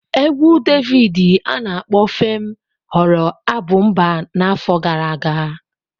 Égwù Davidi ana akpo 'FEM' ghọrọ abụ mba n'afọ gara aga.